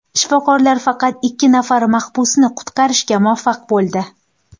Shifokorlar faqat ikki nafar mahbusni qutqarishga muvaffaq bo‘ldi.